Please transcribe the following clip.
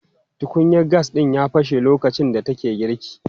Tukunyan gas ɗin ya fashe lokacin da take girki.